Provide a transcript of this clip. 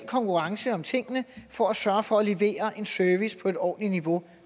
konkurrence om tingene for at sørge for at levere en service på et ordentligt niveau